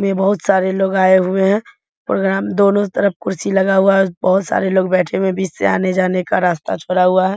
में बहुत लोग आए हुए हैं प्रोग्राम दोनों तरफ कुर्सी लगा हुआ है बहुत सारे बैठे हुए है बीच में आने-जाने का रास्ता छोड़ा हुआ है।